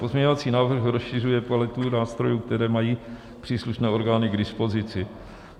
Pozměňovací návrh rozšiřuje kvalitu nástrojů, které mají příslušné orgány k dispozici.